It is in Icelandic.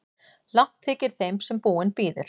Langt þykir þeim sem búinn bíður.